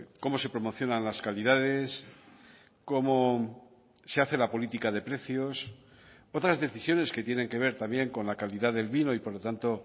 cómo se promocionan las calidades cómo se hace la política de precios otras decisiones que tienen que ver también con la calidad del vino y por lo tanto